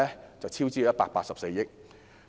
結果是超支184億元。